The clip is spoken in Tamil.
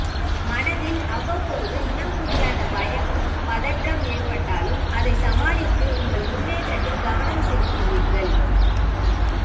மனதில் அவ்வப்போது இனம்புரியாத பயமும் பதற்றம் ஏற்பட்டாலும் அதை சமாளித்து உங்கள் முன்னேற்றத்தில் கவனம் செலுத்துவீர்கள்